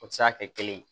O tɛ se ka kɛ kelen ye